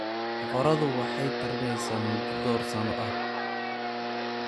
Boqoradu waxay tarmeysaa muddo dhowr sano ah.